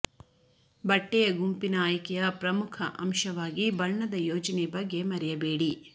ಬಟ್ಟೆಯ ಗುಂಪಿನ ಆಯ್ಕೆಯ ಪ್ರಮುಖ ಅಂಶವಾಗಿ ಬಣ್ಣದ ಯೋಜನೆ ಬಗ್ಗೆ ಮರೆಯಬೇಡಿ